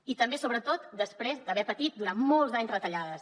i també sobretot després d’haver patit durant molts anys retallades